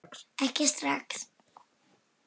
Ekki strax